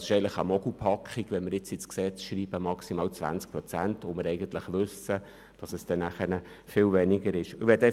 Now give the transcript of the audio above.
Es ist eigentlich eine Mogelpackung, wenn wir jetzt «maximal 20 Prozent» ins Gesetz schreiben und eigentlich wissen, dass es viel weniger sein wird.